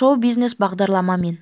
шоу-бағдарлама мен